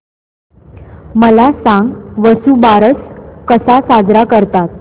मला सांग वसुबारस कसा साजरा करतात